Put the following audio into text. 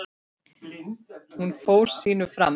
Hún fór sínu fram.